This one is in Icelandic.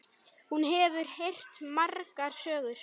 Hún hefur heyrt margar sögur.